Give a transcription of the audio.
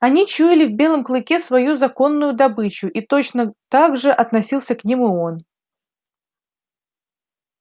они чуяли в белом клыке свою законную добычу и точно так же относился к ним и он